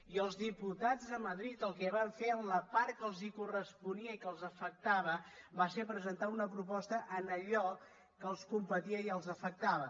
i els diputats de madrid el que van fer en la part que els corresponia i que els afectava va ser presentar una proposta en allò que els competia i els afectava